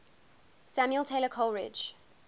samuel taylor coleridge